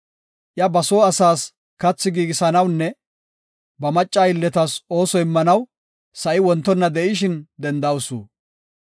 Iya ba soo asaas kathi giigisanawunne ba macca aylletas ooso immanaw, sa7i wontonna de7ishin dendawusu.